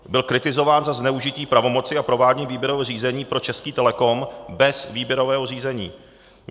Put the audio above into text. Byl kritizován za zneužití pravomoci a provádění výběrového řízení pro Český Telecom bez výběrového řízení.